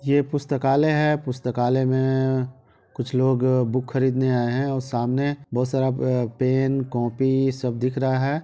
ये पुस्तकालय है पुस्तकालय में कुछ लोग बुक खरीदने आए हैं और सामने बहुत सारा अ पेन कॉपी सब दिख रहा है।